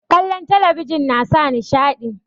kallon talabijin nasa nishaɗi